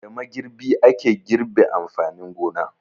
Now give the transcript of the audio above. Da magirbi ake girbe amfanin gona.